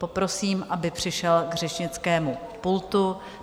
Poprosím, aby přišel k řečnickému pultu.